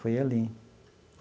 Foi ali.